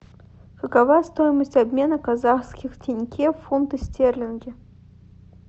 какова стоимость обмена казахских тенге в фунты стерлинги